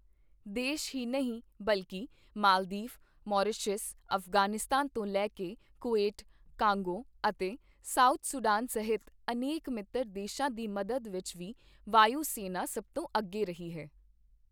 ਦੇਸ਼ ਹੀ ਨਹੀਂ ਬਲਕਿ ਮਾਲਦੀਵ, ਮਾਰੀਸ਼ਸ, ਅਫ਼ਗ਼ਾਨਿਸਤਾਨ ਤੋਂ ਲੈ ਕੇ ਕੁਵੈਤ, ਕਾਂਗੋ ਅਤੇ ਸਾਊਥ ਸੁਡਾਨ ਸਹਿਤ ਅਨੇਕ ਮਿੱਤਰ ਦੇਸ਼ਾਂ ਦੀ ਮਦਦ ਵਿੱਚ ਵੀ ਵਾਯੂ ਸੈਨਾ ਸਭ ਤੋਂ ਅੱਗੇ ਰਹੀ ਹੈ।